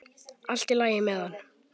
Allt í lagi með hann!